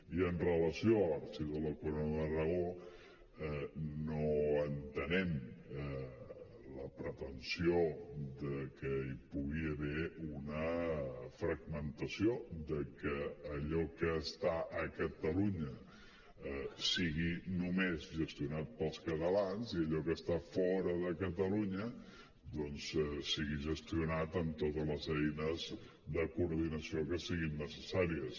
i amb relació a l’arxiu de la corona d’aragó no entenem la pretensió que hi pugui haver una fragmentació que allò que està a catalunya sigui només gestionat pels catalans i allò que està fora de catalunya doncs sigui gestionat amb totes les eines de coordinació que siguin necessàries